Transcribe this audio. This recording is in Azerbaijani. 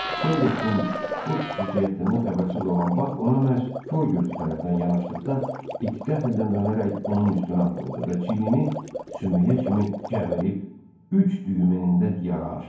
Solleksin bu xüsusiyyətindən xəbərsiz olan Bak ona məhz kor gözü tərəfdən yanaşdıqda, it qəfildən dönərək onun üstünə atıldı və çiynini sümüyə kimi gəmirib, üç düyüm enində yara açdı.